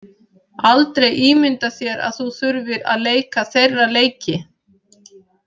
Aldrei ímynda þér að þú þurfir að leika þeirra leiki.